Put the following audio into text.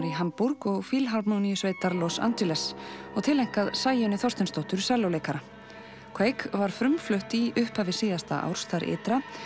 í Hamborg og Fílharmóníusveitar Los Angeles og tileinkað Sæunni Þorsteinsdóttur sellóleikara var frumflutt í upphafi síðasta árs þar ytra